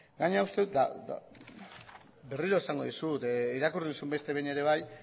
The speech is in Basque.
gainera uste dut eta berriro esango dizut irakurri duzu bete behin ere bai